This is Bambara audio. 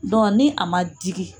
Dɔn ni a ma digi